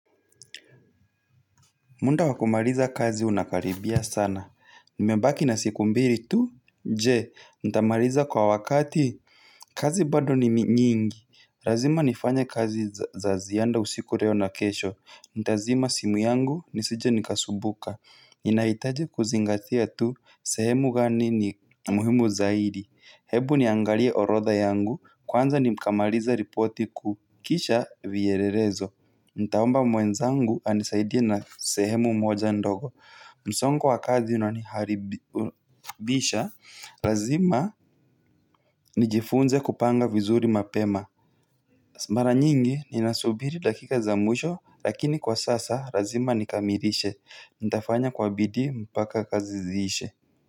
Muda wakumaliza kazi unakaribia sana, nimebaki na siku mbili tu? Je, nitamaliza kwa wakati? Kazi bado ni nyingi lazima nifanye kazi za ziada usiku leo na kesho, nitazima simu yangu nisije nikasumbuka. Ninahitaji kuzingatia tu, sehemu gani ni muhimu zaidi. Hebu niangalie orodha yangu, kwanza nikamalize ripoti kuukisha vyielelezo. Nitaomba mwenzangu anisaidie na sehemu mmoja ndogo. Msongo wa kazi una niharibisha lazima nijifunze kupanga vizuri mapema mara nyingi ninasubiri dakika za mwisho. Lakini kwa sasa lazima nikamilishe. Nitafanya kwa bidii mpaka kaziziishe.